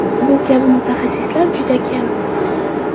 Bu kabi mutaxassislar juda kam.